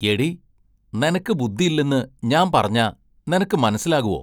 എടീ, നെനക്ക് ബുദ്ദില്ലെന്ന് ഞാമ്പറഞ്ഞാ നെനക്കു മനസ്സിലാകുവോ?